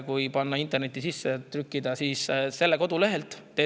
Kui see internetti sisse trükkida, siis selle kodulehelt.